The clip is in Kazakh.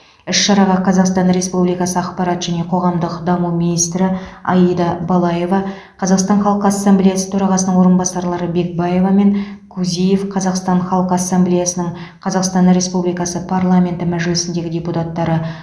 іс шараға қазақстан республикасы ақпарат және қоғамдық даму министрі аида балаева қазақстан халқы ассамблеясы төрағасының орынбасарлары бекбаева мен кузиев қазақстан халқы ассамблеясының қазақстан республикасы парламенті мәжілісіндегі депутаттары